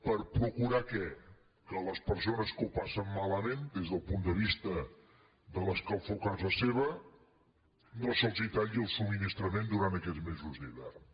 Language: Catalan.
per procurar què que a les persones que ho passen malament des del punt de vista de l’escalfor a casa seva no se’ls talli el subministrament durant aquests mesos d’hivern